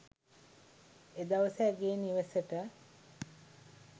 එදවස ඇගේ නිවෙසට